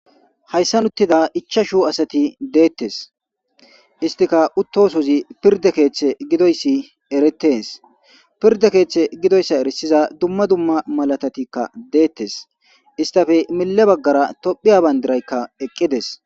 Hayissani uttida ichashu assati dettesi. Initika uttoyisi piridde kethe gidoyisi eretesi. Piride kethe gidoyissa erisiza duma duma malatatika dettesi isitape mile baggara tophiya bandirayi detesi.